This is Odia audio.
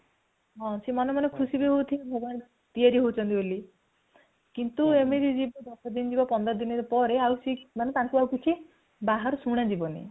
ସେ ମନେ ମନେ ଖୁସି ବି ହେଉଥିବେ ଭଗବାନ ତିଆରି ହେଉଛନ୍ତି ବୋଲି କିନ୍ତୁ ଏମିତି ଯିବ ଦଶଦିନ ଯିବ ପନ୍ଦର ଦିନ ଯିବା ପରେ ମାନେ ତାଙ୍କୁ ଆଉ କିଛି ବାହାରକୁ ଶୁଣା ଯିବନି |